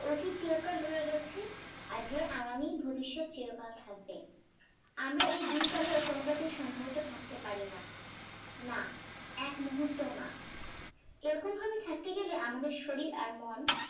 অতীত চিরকাল রয়ে গেছে আর যে আগামী ভবিষৎ চির কাল থাকবে আমরা এই দুই কালে কোনোটাতেই সম্ভবত থাকতে পারিনা না একমুহূর্তও না এরকম ভাবে থাকতে গেলে আমাদের শরীর আর মন